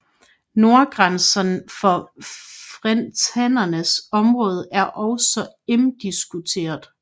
Nordgrænsen for frentanernes område er også imdiskuteret